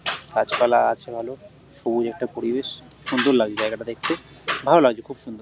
গাছপালা আছে ভালো সবুজ একটা পরিবেশ সুন্দর লাগছে জায়গাটা দেখতে ভাল লাগছে খুব সুন্দর ।